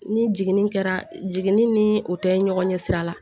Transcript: Ni jiginni kɛra jiginni ni o tɛ ɲɔgɔn ɲɛ sira la